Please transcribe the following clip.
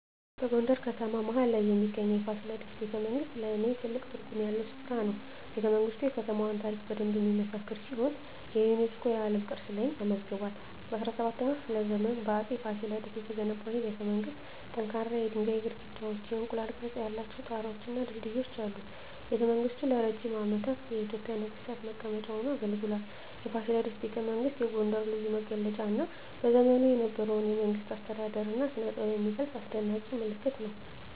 በጎንደር ከተማ መሀል ላይ የሚገኘው የፋሲለደስ ቤተመንግሥት ለኔ ትልቅ ትርጉም ያለው ስፍራ ነው። ቤተመንግስቱ የከተማዋን ታሪክ በደንብ የሚመሰክር ሲሆን የዩኔስኮ የዓለም ቅርስ ላይም ተመዝግቧል። በ17ኛው ክፍለ ዘመን በአፄ ፋሲለደስ የተገነባው ይህ ቤተመንግሥት ጠንካራ የድንጋይ ግድግዳዎች፣ የእንቁላል ቅርፅ ያላቸው ጣራወች እና ድልድዮች አሉት። ቤተመንግሥቱ ለረጅም ዓመታት የኢትዮጵያ ነገሥታት መቀመጫ ሆኖ አገልግሏል። የፋሲለደስ ቤተመንግሥት የጎንደርን ልዩ መገለጫ እና በዘመኑ የነበረውን የመንግሥት አስተዳደር እና ስነጥበብ የሚገልጽ አስደናቂ ምልክት ነው።